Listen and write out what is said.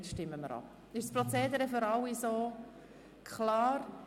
Ist das Prozedere für alle klar?